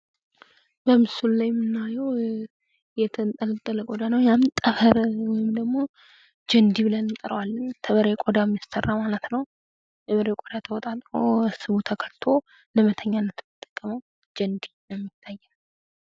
በምስሉ ላይ የምናየው የጠንጠለጠለ ቆዳ ነውደ ያም ጠፍር ወይም ደግሞ ጀንዲ ብለን እንጠረዋለን። ከበሬ ቆዳ የሚሰራ ማለት ነው። የበሬ ቆዳ ተወጣጥሮ ስቡ ተቀልጦ ለመተኛት የምንጠቀመው ጀንድ ይታያል።